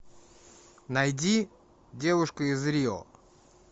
найди девушка из рио